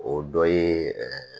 O dɔ ye